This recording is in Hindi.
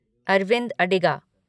अरविंद अडिगा